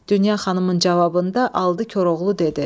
Dünya xanımın cavabında aldı Koroğlu dedi: